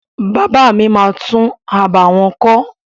Bàbá mi máa tún abà wọn kọ́.